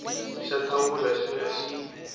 xa thawula xo ya xi